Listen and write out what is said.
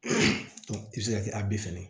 i bɛ se ka kɛ a bɛɛ fɛnɛ ye